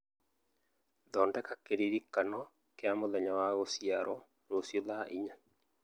Thondeka kĩririkano kĩa mũthenya wa gũciarũo rũciũ thaa inya